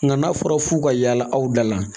Nka n'a fɔra f'u ka yaala aw da la